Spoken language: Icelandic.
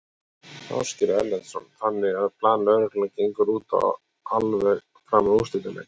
Ásgeir Erlendsson: Þannig að plan lögreglunnar gengur út á alveg fram að úrslitaleik?